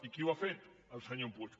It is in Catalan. i qui ho ha fet el senyor puig